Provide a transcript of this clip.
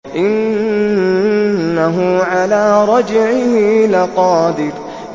إِنَّهُ عَلَىٰ رَجْعِهِ لَقَادِرٌ